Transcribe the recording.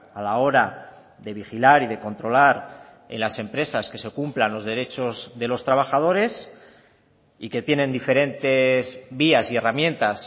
a la hora de vigilar y de controlar en las empresas que se cumplan los derechos de los trabajadores y que tienen diferentes vías y herramientas